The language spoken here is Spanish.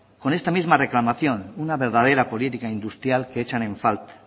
con esta misma reclamación una verdadera política industrial que echan en falta